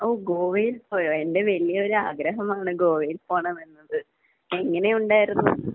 ഓഹ്. ഗോവയിൽ പോയോ? എന്റെ വലിയ ഒരു ആഗ്രഹമാണ് ഗോവയിൽ പോകണമെന്നത്. എങ്ങനെയുണ്ടായിരുന്നു?